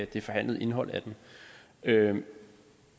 det forhandlede indhold af den